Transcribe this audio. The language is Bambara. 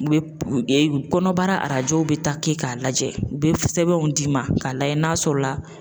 U be kɔnɔbara arajow be ta kɛ k'a lajɛ u be sɛbɛnw d'i ma k'a lajɛ n'a sɔrɔ la